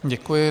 Děkuji.